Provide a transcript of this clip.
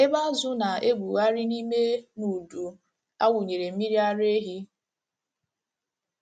ebe azụ̀ na - egwugharị n’ime n’udu a wụnyere mmiri ara ehi